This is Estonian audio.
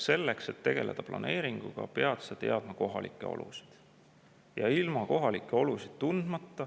Selleks, et tegeleda planeeringuga, pead sa teadma kohalikke olusid.